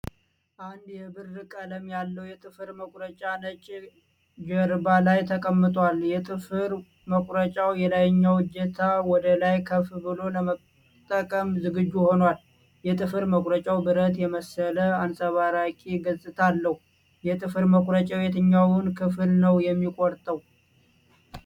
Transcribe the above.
አንድ የብር ቀለም ያለው የጥፍር መቁረጫ ነጭ ጀርባ ላይ ተቀምጧል። የጥፍር መቁረጫው የላይኛው እጀታ ወደ ላይ ከፍ ብሎ ለመጠቀም ዝግጁ ሆኗል። የጥፍር መቁረጫው ብረት የመሰለ አንጸባራቂ ገጽታ አለው። የጥፍር መቁረጫው የትኛውን ክፍል ነው የሚቆርጠው? የ